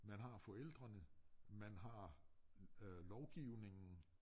Man har forældrene man har øh lovgivningen